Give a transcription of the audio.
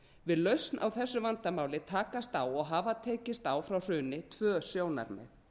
við lausn á þessu vandamáli takast á og hafa tekist á frá hruni tvö sjónarmið